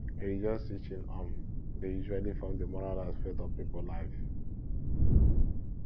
religious teaching um dey usually form di moral aspect of pipo life